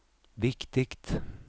viktigt